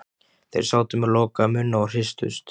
Þeir sátu með lokaða munna og hristust.